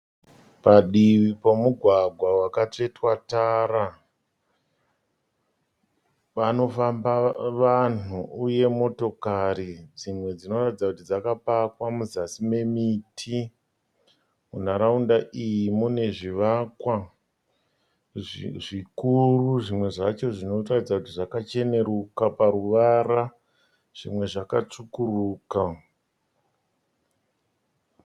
Padivi pomugwagwa wakatsvetwa tara, panofamba vanhu uye motokari, dzimwe dzinoratidza kuti dzakapakwa muzasi memiti. Munharaunda iyi mune zvivakwa zvikuru, zvimwe zvacho zvinoratidza kuti zvakacheneruka paruvara, zvimwe zvakatsvukuruka.